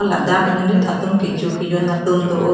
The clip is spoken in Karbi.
ladak monit tum kecho kejun atum do oh.